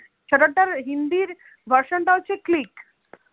shutter টার Hindi version টা হচ্ছে click